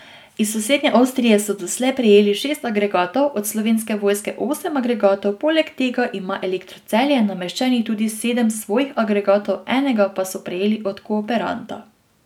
Iz sosednje Avstrije so doslej prejeli šest agregatov, od Slovenske vojske osem agregatov, poleg tega ima Elektro Celje nameščenih tudi sedem svojih agregatov, enega pa so prejeli od kooperanta.